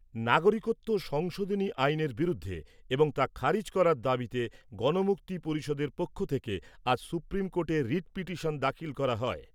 নাগরিকত্ব সংশোধনী আইনের বিরুদ্ধে এবং তা খারিজ করার দাবিতে গণমুক্তি পরিষদের পক্ষ থেকে আজ সুপ্রিম কোর্টে রিট পিটিশন দাখিল করা হয়।